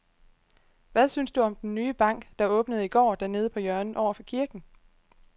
Hvad synes du om den nye bank, der åbnede i går dernede på hjørnet over for kirken?